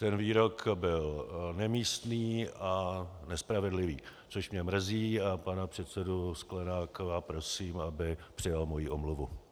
Ten výrok byl nemístný a nespravedlivý, což mě mrzí, a pana předsedu Sklenáka prosím, aby přijal moji omluvu.